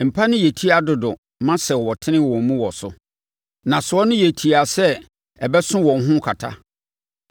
Mpa no yɛ tia dodo ma sɛ wɔtene wɔn mu wɔ so. Nnasoɔ no yɛ tiaa sɛ ɛbɛ so wɔn ho kata.